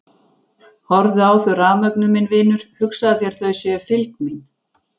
Horfðu á þau rafmögnuð minn vinur, hugsaðu þér þau séu fylgd mín.